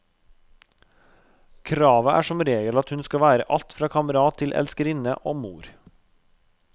Kravet er som regel at hun skal være alt fra kamerat til elskerinne og mor.